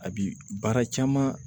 A bi baara caman